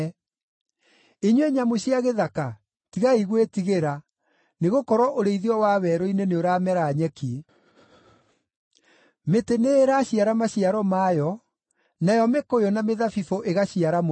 Inyuĩ nyamũ cia gĩthaka, tigai gwĩtigĩra, nĩgũkorwo ũrĩithio wa werũ-inĩ nĩũramera nyeki. Mĩtĩ nĩĩraciara maciaro mayo, nayo mĩkũyũ na mĩthabibũ ĩgaciara mũno.